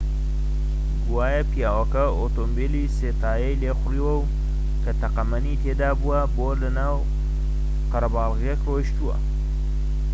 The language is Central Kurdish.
گوایە پیاوەکە ئۆتۆمبێلی سێ تایەی لێخوڕیوە کە تەقەمەنی تێدا بووە بۆ ناو قەرەباڵغییەک ڕۆیشتووە